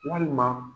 Walima